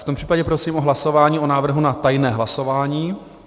V tom případě prosím o hlasování o návrhu na tajné hlasování.